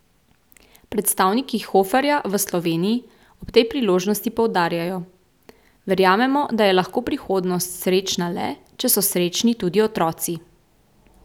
Predstavniki Hoferja v Sloveniji ob tej priložnosti poudarjajo: 'Verjamemo, da je lahko prihodnost srečna le, če so srečni tudi otroci.